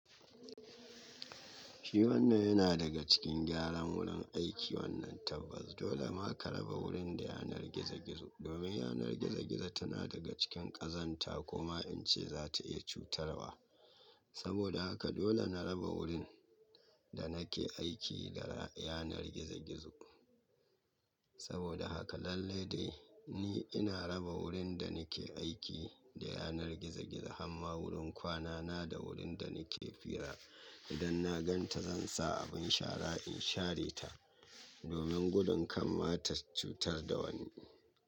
Shi wannan yana daga cikin gyaran wurin aiki wannan tabbas dole ma ka raba wurin da yanar gizo-gizo domin yanar gizo-gizo tana daga cikin ƙazanta kuma in ce za ta iya cutarwa. Saboda haka dole na raba wurin da nake aiki da yanar gizo-gizo. Saboda haka lallai dai ni ina raba wurin da nake aiki da yanar gizo-gizo har ma wurin kwana na da wurin da nake hira idan na gan ta zan sa abin shara in share ta domin gudun kan ma ta cutar da wani.